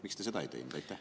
Miks te seda ei teinud?